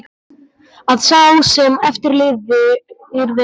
Að sá sem eftir lifði yrði sár.